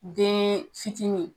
Den fitini.